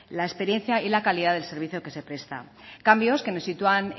la experiencia y la calidad del servicio que se presta cambios que nos sitúan